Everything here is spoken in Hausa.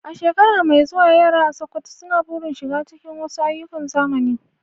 A shekara mai zuwa, yara a Sokoto suna burin shiga cikin wasu ayyukan zamani.